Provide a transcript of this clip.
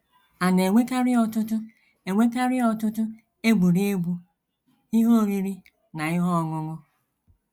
“ A na - enwekarị ọtụtụ - enwekarị ọtụtụ egwuregwu, ihe oriri, na ihe ọṅụṅụ.